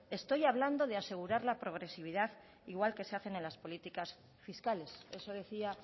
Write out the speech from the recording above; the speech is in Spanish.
estoy hablando de asegurar la progresividad igual que se hace en las políticas fiscales eso decía